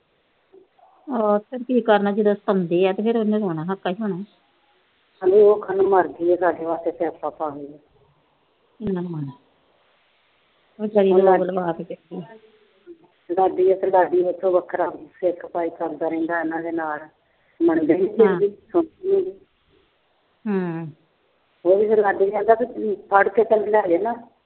ਦਾਦੀ ਦਾ ਵੱਖਰਾ ਸਿਰ ਖਪਾਈ ਕਰਦਾ ਰਹਿੰਦਾ ਇਹਨਾਂ ਦੇ ਨਾਲ। ਉਹੀ ਫੇਰ ਲਾਡੀ ਕਹਿੰਦਾ ਫੜ ਕੇ ਸਮਝਾ ਦੇ ਨਾ।